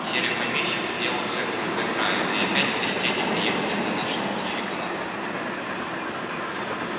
серый помещик сделался грозой края и опять крестьяне приехали за нашей волчьей командой